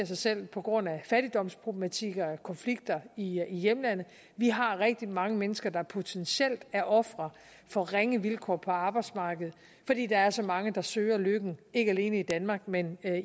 sig selv på grund af fattigdomsproblematikker og konflikter i hjemlandet vi har rigtig mange mennesker der potentielt er ofre for ringe vilkår på arbejdsmarkedet fordi der er så mange der søger lykken ikke alene i danmark men